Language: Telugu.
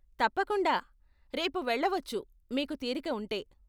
తప్పకుండా, రేపు వెళ్ళవచ్చు మీకు తీరిక ఉంటే.